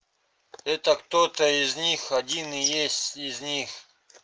это кто-то из них один и есть из них